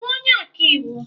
Ị bú onye ọkàiwu?